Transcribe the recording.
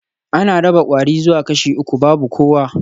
An raba kwari zuwa kashi uku babu kowa